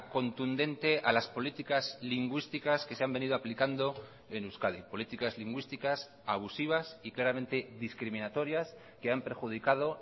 contundente a las políticas lingüísticas que se han venido aplicando en euskadi políticas lingüísticas abusivas y claramente discriminatorias que han perjudicado